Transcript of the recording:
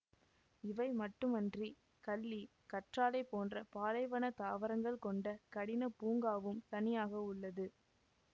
இவை மட்டுமன்றி கள்ளி கற்றாழை போன்ற பாலைவன தாவரங்கள் கொண்ட கடின பூங்காவும் தனியாக உள்ளது